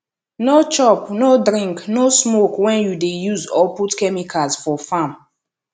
no chop no drink no smoke when you dey use or put chemicals for farm